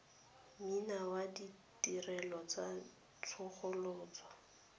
mene ya ditirelo tsa tsosoloso